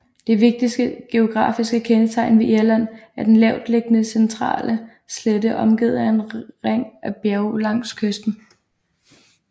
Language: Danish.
Det vigtigste geografiske kendetegn ved Irland er den lavtliggende centrale slette omgivet af en ring af bjerge langs kysten